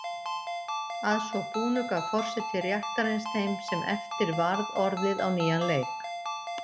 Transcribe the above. Að svo búnu gaf forseti réttarins þeim sem eftir varð orðið á nýjan leik.